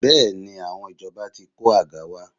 Bẹ́ẹ̀ni, àwọn ìjọba ti kó àga wá